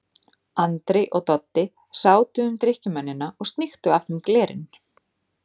Andri og Doddi sátu um drykkjumennina og sníktu af þeim glerin.